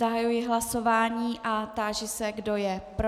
Zahajuji hlasování a táži se, kdo je pro.